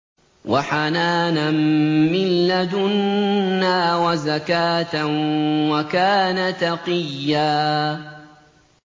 وَحَنَانًا مِّن لَّدُنَّا وَزَكَاةً ۖ وَكَانَ تَقِيًّا